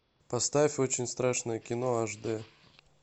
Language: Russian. поставь очень страшное кино аш д